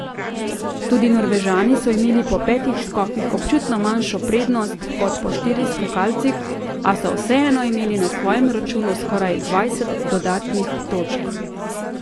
Tudi Norvežani so imeli po petih skokih občutno manjšo prednost kot po štirih skakalcih, a so vseeno imeli na svojem računu skoraj dvajset dodatnih točk.